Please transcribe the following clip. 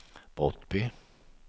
Brottby